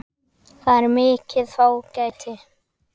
Það er mikið fágæti.